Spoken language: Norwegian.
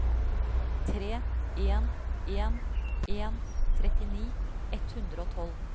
tre en en en trettini ett hundre og tolv